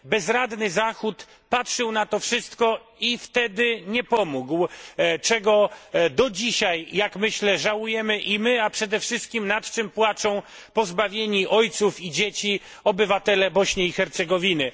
Bezradny Zachód patrzył na to wszystko i wtedy nie pomógł, czego do dzisiaj jak myślę żałujemy i my, a przede wszystkim nad czym płaczą pozbawieni ojców i dzieci obywatele Bośni i Hercegowiny.